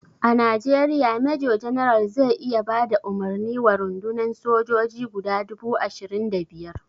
A Najeriya major general zai iya bada umarni wa rundunan sojoji guda dubu ashirin da biyar.